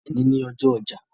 Èní ni ọjọ́ ọjà